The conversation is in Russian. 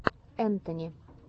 энтони